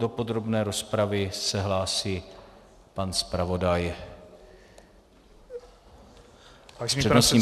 Do podrobné rozpravy se hlásí pan zpravodaj s přednostním právem.